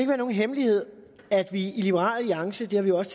være nogen hemmelighed at vi i liberal alliance det har vi også